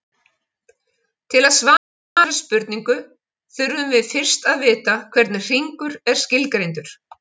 Til að svara þessari spurningu þurfum við fyrst að vita hvernig hringur er skilgreindur.